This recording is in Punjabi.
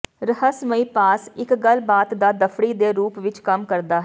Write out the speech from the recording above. ਰਹੱਸਮਈ ਪਾਸ ਇੱਕ ਗੱਲਬਾਤ ਦਾ ਦਫੜੀ ਦੇ ਰੂਪ ਵਿੱਚ ਕੰਮ ਕਰਦਾ ਹੈ